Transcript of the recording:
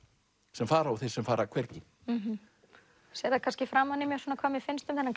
sem fara og þeir sem fara hvergi þú sérð það kannski framan í mér hvað mér finnst um þennan